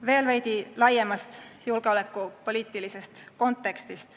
Veel veidi laiemast julgeolekupoliitilisest kontekstist.